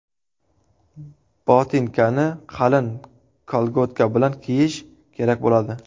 Botinkani qalin kolgotka bilan kiyish kerak bo‘ladi.